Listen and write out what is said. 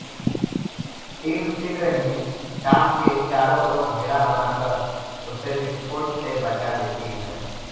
team शीघ्र ही dome के चारों ओर घेरा बनाकर उसे विस्फोट से बचा लेती है